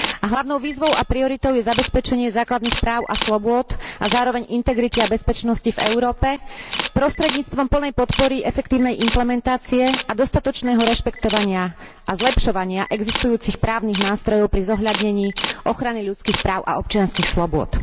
Hlavnou výzvou a prioritou je zabezpečenie základných práv a slobôd a zároveň aj integrity a bezpečnosti v Európe prostredníctvom plnej podpory efektívnej implementácie a dostatočného rešpektovania a zlepšovania existujúcich právnych nástrojov pri zohľadnení ochrany ľudských práv a občianskych slobôd.